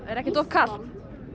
er ekkert of kalt